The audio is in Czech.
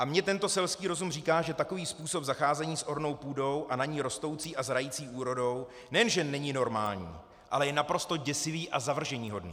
A mně tento selský rozum říká, že takový způsob zacházení s ornou půdou a na ní rostoucí a zrající úrodou nejenže není normální, ale je naprosto děsivý a zavrženíhodný.